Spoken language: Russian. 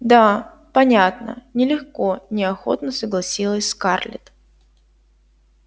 да понятно нелегко неохотно согласилась скарлетт